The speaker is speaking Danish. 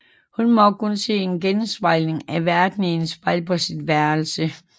Hun må kun se en genspejling af verden i et spejl på sit værelse